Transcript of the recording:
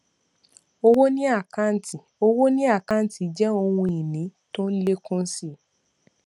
owó ni àkáǹtì owó ni àkáǹtì jẹ ohun ìní tó ń lékún si